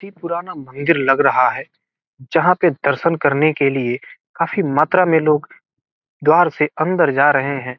काफी पुराना मंदिर लग रहा है जहां के दर्शन करने के लिए काफी मात्रा मे लोग द्वार से अंदर जा रहे हैं।